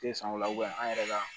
Te san o la an yɛrɛ ka